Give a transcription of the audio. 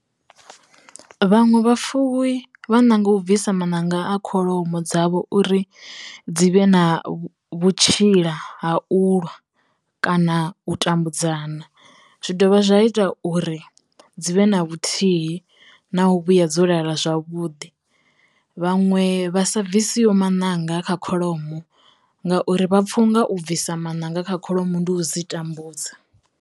Vhaṅwe vha fuwi vha ṋanga u bvisa maṋanga a kholomo dzavho uri dzi vhe na vhutshila ha ulwa, kana u tambudzana zwi dovha zwa ita uri dzi vhe na vhuthihi na u vhuya dzo lala zwavhuḓi. Vhaṅwe vha sa bvisiho maṋanga kha kholomo ngauri vha pfha u nga u bvisa maṋanga kha kholomo ndi u dzi tambudza.